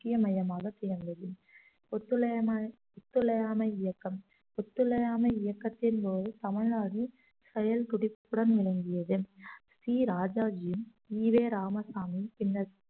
முக்கிய மையமாக திகழ்ந்தது ஒத்துழையாமை ஒத்துழையாமை இயக்கம் ஒத்துழையாமை இயக்கத்தின்போது தமிழ்நாடு செயல் துடிப்புடன் விளங்கியது சி ராஜாஜியும் ஈ வே ராமசாமியும் பின்னர்